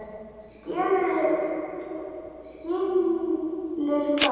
Skilur hvað?